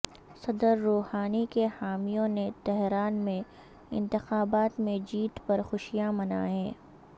صدر روحانی کے حامیوں نے تہران میں انتخابات میں جیت پر خوشیاں منائیں